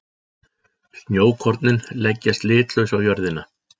Snjókornin leggjast litlaus á jörðina.